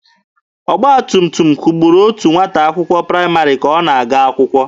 Ọgba tum tum kwugburu otu nwata akwụkwọ praịmarị ka ọ na-aga akwụkwọ.